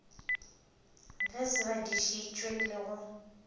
ge se badišitšwe le go